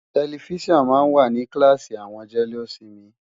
Tẹlifíṣàn máa ń wà ní kíláàsì àwọn jẹ́lósinmi.